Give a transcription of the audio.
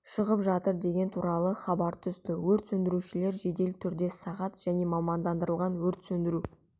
шығып жатыр деген туралы хабар түсті өрт сөндірушілер жедел түрде сағат және мамандандырылған өрт сөндіру